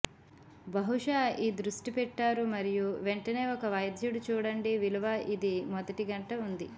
బహుశా ఈ దృష్టి పెట్టారు మరియు వెంటనే ఒక వైద్యుడు చూడండి విలువ ఇది మొదటి గంట ఉంది